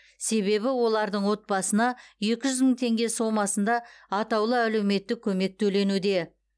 себебі олардың отбасына екі жүз мың теңге сомасында атаулы әлеуметтік көмек төленуде